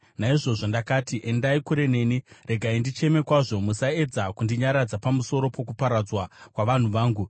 Naizvozvo ndakati, “Endai kure neni; regai ndicheme kwazvo. Musaedza kundinyaradza pamusoro pokuparadzwa kwavanhu vangu.”